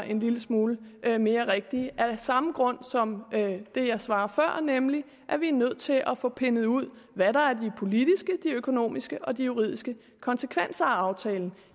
en lille smule mere rigtige det er af samme grund som det jeg svarede før nemlig at vi er nødt til at få pindet ud hvad der er de politiske de økonomiske og de juridiske konsekvenser af aftalen